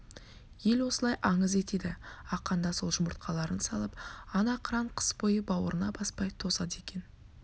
ел осылай аңыз етеді ақаанда сол жұмыртқаларын салып ана қыран қыс бойы бауырына баспай тосады екен